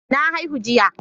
Na haihu jiya.